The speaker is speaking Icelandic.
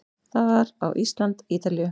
Það var á Ísland- Ítalíu